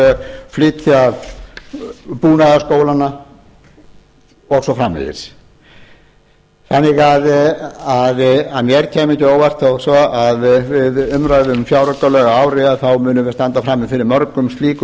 og flytja búnaðarskólana og svo framvegis þannig að mér kæmi ekki á óvart við umræðu um fjáraukalög að ári þá munum við standa frammi fyrir mörgum slíkum